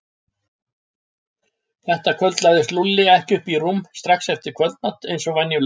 Þetta kvöld lagðist Lúlli ekki upp í rúm strax eftir kvöldmat eins og venjulega.